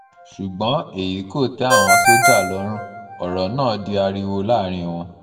ṣùgbọ́n èyí kò tẹ́ àwọn sójà lọ́rùn ọ̀rọ̀ náà di ariwo láàrin wọn